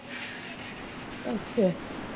ਅੱਛਾ